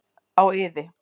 Á iði.